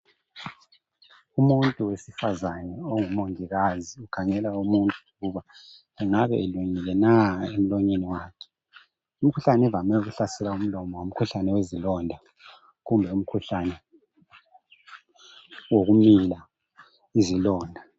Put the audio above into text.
Umuntu wesifazane ongumongikazi ukhangela umuntu ukuba engabe elungile na emlonyeni wakhe umkhuhlane ovame ukuhlasela umlomo ngukhuhlane wezilonda kumbe umkhuhlane kumbe umkhuhlane wokumila izilonda